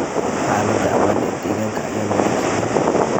Xaalada amaan ee deegaanka ayaan wanaagsanayn.